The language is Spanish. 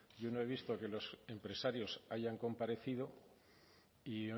yo no he visto que los empresarios hayan comparecido y